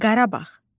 Qarabağ.